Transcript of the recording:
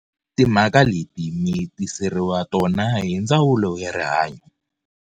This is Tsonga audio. Timhaka leti mi tiseriwa tona hi Ndzawulo ya Rihanyo.